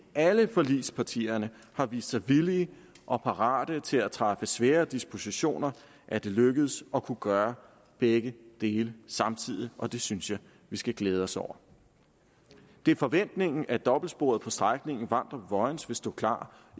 alle forligspartierne har vist sig villige og parate til at træffe svære dispositioner er det lykkedes at kunne gøre begge dele samtidig og det synes jeg vi skal glæde os over det er forventningen at dobbeltsporet på strækningen vamdrup vojens vil stå klar